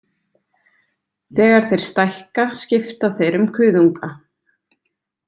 Þegar þeir stækka skipta þeir um kuðunga.